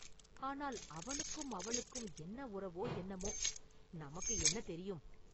ஆனால் அவனுக்கும் அவளுக்கும் என்ன உறவோ என்னமோ, நமக்கு என்ன தெரியும்?